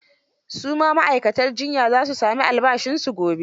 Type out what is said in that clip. Su ma ma'aikatan jiyya za su sami albashinsu gobe.